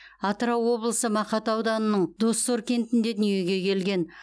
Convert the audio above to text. атырау облысы мақат ауданының доссор кентінде дүниеге келген